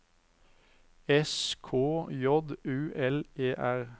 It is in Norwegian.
S K J U L E R